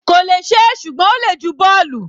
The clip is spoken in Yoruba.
kò lè ṣe é, ṣùgbọ́n ó le ju bọ́ọ̀lù.